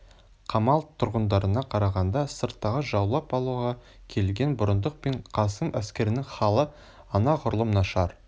қамал тұрғындарына қарағанда сырттағы жаулап алуға келген бұрындық пен қасым әскерінің халі анағұрлым нашар